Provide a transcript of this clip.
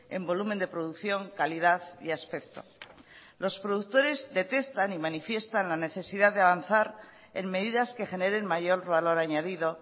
en volumen de producción calidad y aspecto los productores detectan y manifiestan la necesidad de avanzar en medidas que generen mayor valor añadido